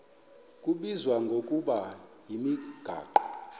kubizwa ngokuba yimigaqo